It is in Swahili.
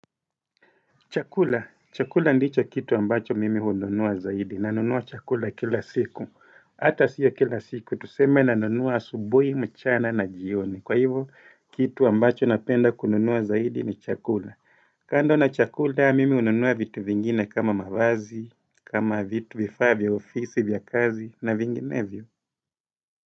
Chakula. Chakula ndicho kitu ambacho mimi hununua zaidi. Nanunua chakula kila siku. Hata sio kila siku. Tuseme nanunua asubui, mchana na jioni. Kwa hivo, kitu ambacho napenda kununua zaidi ni chakula. Kando na chakula, mimi hununua vitu vingine kama mavazi, kama vitu vifaa vya ofisi vya kazi, na vinginevyo.